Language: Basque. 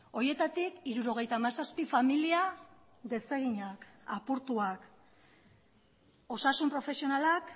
horietatik hirurogeita hamazazpi familia deseginak apurtuak osasun profesionalak